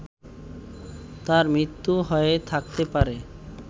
তার মৃত্যু হয়ে থাকতে পারে